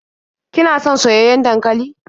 Kina son soyayyen dankali?